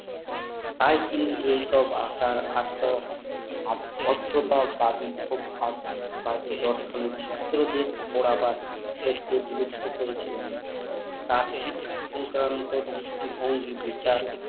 তাইকি এই সব আসার আর পদ্ধতারবাদী ও ভারতবাদী দর্শনের ছাত্রদের পোড়াবার ক্ষেত্রে বিলুপদ্ধ করেছিলেন তার শিক্ষা সংক্রান্ত দৃষ্টি ভঙ্গি বিচার